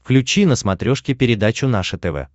включи на смотрешке передачу наше тв